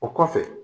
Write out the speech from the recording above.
O kɔfɛ